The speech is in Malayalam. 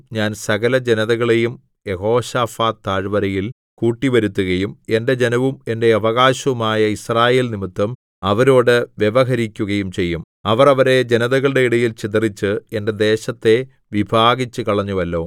ഞാൻ സകലജനതകളെയും യഹോശാഫാത്ത് താഴ്വരയിൽ കൂട്ടിവരുത്തുകയും എന്റെ ജനവും എന്റെ അവകാശവുമായ യിസ്രായേൽ നിമിത്തം അവരോടു വ്യവഹരിക്കുകയും ചെയ്യും അവർ അവരെ ജനതകളുടെ ഇടയിൽ ചിതറിച്ച് എന്റെ ദേശത്തെ വിഭാഗിച്ചുകളഞ്ഞുവല്ലോ